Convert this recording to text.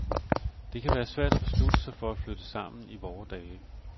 Det kan være svært at beslutte sig for at flytte sammen i vore dage.